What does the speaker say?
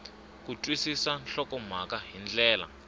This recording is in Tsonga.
ku twisisa nhlokomhaka hi ndlela